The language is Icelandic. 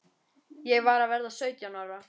Ég var að verða sautján ára.